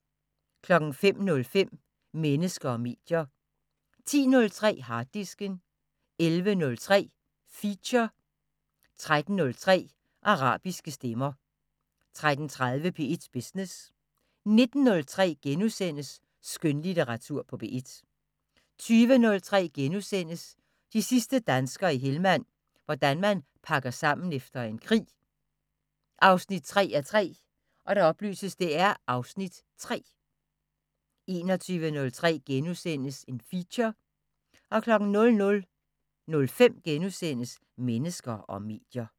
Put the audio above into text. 09:05: Mennesker og medier 10:03: Harddisken 11:03: Feature 13:03: Arabiske stemmer 13:30: P1 Business 19:03: Skønlitteratur på P1 * 20:03: De sidste danskere i Helmand – hvordan man pakker sammen efter en krig 3:3 (Afs. 3)* 21:03: Feature * 00:05: Mennesker og medier *